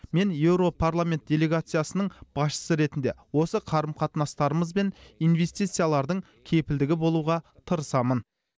мен еуропарламент делегациясының басшысы ретінде осы қарым қатынастарымыз бен инвестициялардың кепілдігі болуға тырысамын